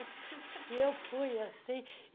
E eu fui assim.